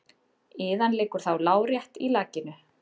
Iðan liggur þá lárétt í lakinu.